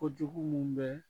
Ko minnu bɛ